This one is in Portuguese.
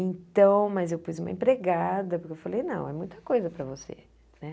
Então, mas eu pus uma empregada, porque eu falei, não, é muita coisa para você né.